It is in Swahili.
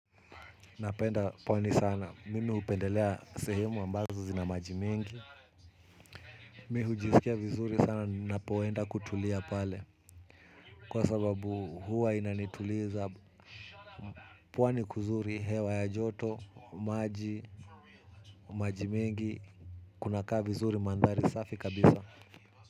Napenda pwani sana. Mimi upendelea sehemu ambazo zina maji mingi. Mi hujiskia vizuri sana napoenda kutulia pale. Kwa sababu huwa inanituliza. Pwani kuzuri hewa ya joto, maji, majimingi. Kuna kaa vizuri mandhari safi kabisa.